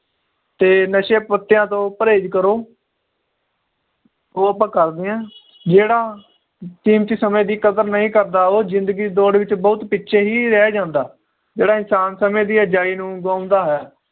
ਤੇ ਨਸ਼ੇ ਪੱਤਿਆਂ ਤੋਂ ਪਰਹੇਜ ਕਰੋ ਉਹ ਆਪਾਂ ਕਰਦੇ ਆ ਜਿਹੜਾ ਕੀਮਤੀ ਸਮੇ ਦੀ ਕਦਰ ਨਹੀਂ ਕਰਦਾ ਉਹ ਜਿੰਦਗੀ ਦੀ ਦੌੜ ਵਿਚ ਬਹੁਤ ਪਿੱਛੇ ਹੀ ਰਹਿ ਜਾਂਦਾ ਜਿਹੜਾ ਇਨਸਾਨ ਸਮੇ ਦੀ ਅਜਾਈਂ ਨੂੰ ਗਵਾਉਂਦਾ ਹੈ